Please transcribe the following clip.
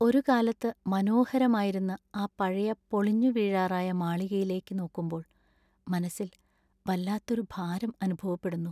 ഒരുകാലത്ത് മനോഹരമായിരുന്ന ആ പഴയ പൊളിഞ്ഞുവീഴാറായ മാളികയിലേക്ക് നോക്കുമ്പോൾ മനസ്സിൽ വല്ലാത്തൊരു ഭാരം അനുഭവപ്പെടുന്നു.